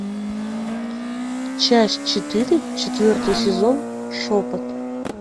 часть четыре четвертый сезон шепот